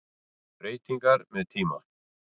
Breytingar með tíma